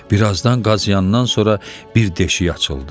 Birazdan qazıyandan sonra bir deşik açıldı.